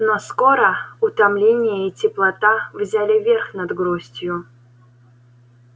но скоро утомление и теплота взяли верх над грустью